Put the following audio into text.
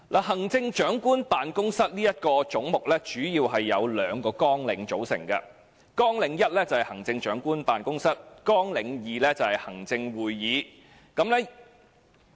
行政長官辦公室這個總目，主要由兩個綱領組成：綱領1行政長官辦公室，及綱領2行政會議。